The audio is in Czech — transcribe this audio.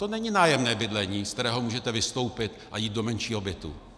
To není nájemní bydlení, ze kterého můžete vystoupit a jít do menšího bytu.